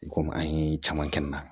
I komi an ye caman kɛ n na